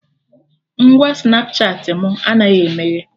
Ngwa Snapchatị mụ anaghị emeghe